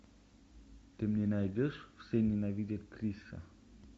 ты мне найдешь все ненавидят криса